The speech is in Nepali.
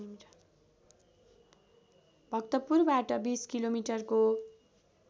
भक्तपुरबाट २० किलोमिटरको